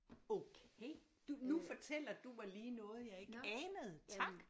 Okay du nu fortæller du mig lige noget jeg ikke anede tak